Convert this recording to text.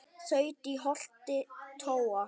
þaut í holti tóa